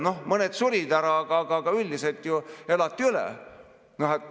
Noh, mõned surid ära, aga üldiselt elati üle.